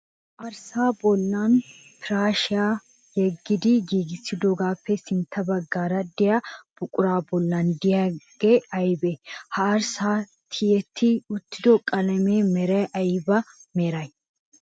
Arssaa bollan piraashiyaa yeggidi giigissidoogaappa sintta baggaara diya buquraa bollan diyaabay ayibee? Ha arssay tiyetti uttido qalamiya meray ayiba meree?